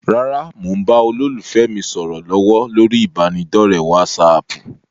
Rárá, mo ń bá olólùfẹ́ mi sọ̀rọ̀ lọ́wọ́ lórí ibanidọ̀rẹ́ "wásààpù".